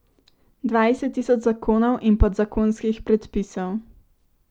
Dvajset tisoč zakonov in podzakonskih predpisov.